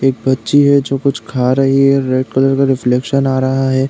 एक बच्ची है जो कुछ खा रही है। रेड कलर का रिफ्लेकशन आ रहा है।